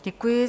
Děkuji.